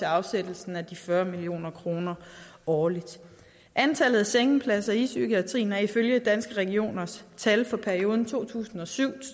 afsættelsen af de fyrre million kroner årligt antallet af sengepladser i psykiatrien er ifølge danske regioners tal for perioden to tusind og syv